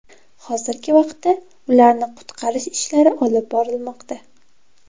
Hozirgi vaqtda ularni qutqarish ishlari olib borilmoqda.